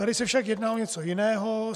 Tady se však jedná o něco jiného.